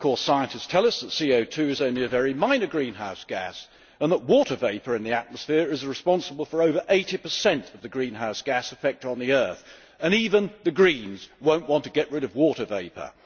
Of course, scientists tell us that CO 2 is only a very minor greenhouse gas and that water vapour in the atmosphere is responsible for over 80 per cent of the greenhouse gas effect on the Earth. Even the Greens will not want to get rid of water vapour.